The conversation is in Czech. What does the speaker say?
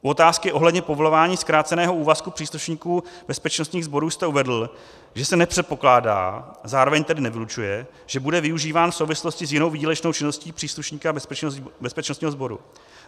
U otázky ohledně povolování zkráceného úvazku příslušníků bezpečnostních sborů jste uvedl, že se nepředpokládá - zároveň tedy nevylučuje - že bude využíván v souvislosti s jinou výdělečnou činností příslušníka bezpečnostního sboru.